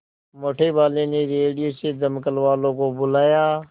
मोटेवाले ने रेडियो से दमकल वालों को बुलाया